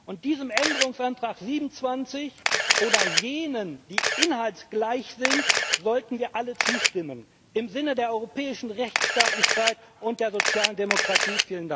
Und diesem Änderungsantrag 27 oder jenen, die inhaltsgleich sind, sollten wir alle zustimmen im Sinne der europäischen Rechtsstaatlichkeit und der sozialen Demokratie.